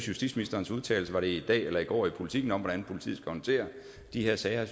justitsministerens udtalelser i dag eller i går i politiken om hvordan politiet håndtere de her sager